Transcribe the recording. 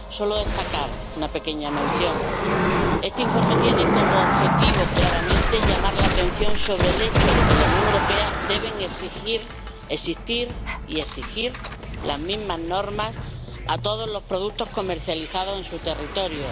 Solo destacar una pequeña mención este informe tiene como objetivo, claramente, llamar la atención sobre el hecho de que en la Unión Europea deben existir y se deben exigir las mismas normas para todos los productos comercializados en su territorio.